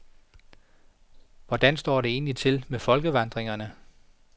Hvordan står det egentlig til med folkevandringerne?